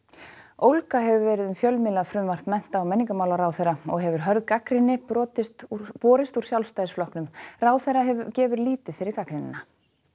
ólga hefur verið um fjölmiðlafrumvarp mennta og menningarmálaráðherra og hefur hörð gagnrýni borist úr borist úr Sjálfstæðisflokknum ráðherra gefur lítið fyrir gagnrýnina